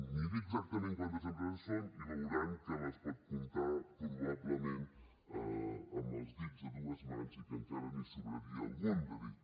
miri exactament quantes empreses són i veurà que les pot comptar probablement amb els dits de dues mans i que encara li’n sobraria algun de dit